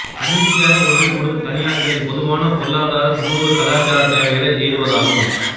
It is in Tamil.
தன்னிச்சையாக ஒன்றுகூடும் தனியாட்களின் பொதுவான பொருளாதார சமூக கலாசார தேவைகளை எய்துவதாகும்